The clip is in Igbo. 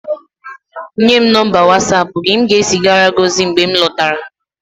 Nye m nọmba Watsapụ gị, m ga-ezigara gị ozi mgbe m lọtara